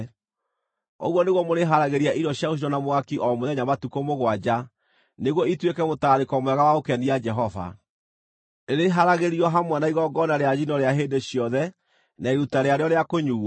Ũguo nĩguo mũrĩharagĩria irio cia gũcinwo na mwaki o mũthenya matukũ mũgwanja nĩguo ituĩke mũtararĩko mwega wa gũkenia Jehova; rĩrĩharagĩrio hamwe na igongona rĩa njino rĩa hĩndĩ ciothe na iruta rĩarĩo rĩa kũnyuuo.